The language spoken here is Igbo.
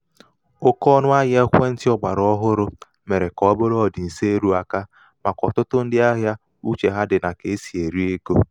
um oke ọnụ̄ahịa ekwentị̄ ọ̀gbàrà ọhụrụ̣ mèrè kà ọ bụrụ ọ̀dị̀ǹso erūākā màkà ọ̀tụtụ ndị ahịa uchè ha dị̀ nà um kà e sì èri egō.